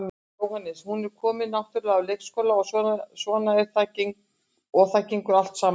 Jóhannes: Hún er komin náttúrulega á leikskóla og svona og það gengur allt saman vel?